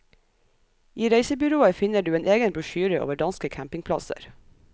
I reisebyrået finner du en egen brosjyre over danske campingplasser.